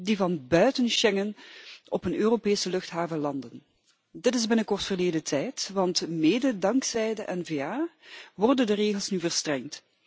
die van buiten Schengen op een Europese luchthaven landen. Dit is binnenkort verleden tijd want mede dankzij de N VA worden de regels nu verstrengd.